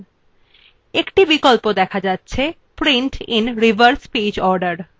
একটি check box দেখা যাচ্ছে print in reverse page order